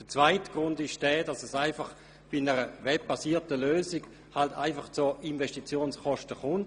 Der zweite Grund ist, dass bei einer webbasierten Lösung zu Beginn halt einfach Investitionskosten anfallen.